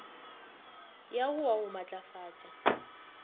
ya go wa go matlafatša